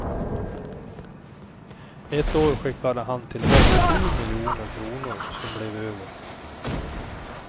Ett år skickade han tillbaks sju miljoner kronor som blev över.